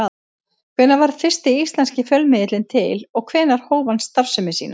Hvenær varð fyrsti íslenski fjölmiðillinn til og hvenær hóf hann starfsemi sína?